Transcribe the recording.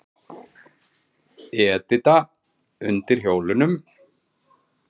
Edita undir hjólunum.